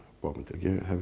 bókmenntir ég hef